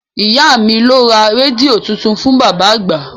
Ìyá mi ló ra rédíò tuntun fún bàbá àgbà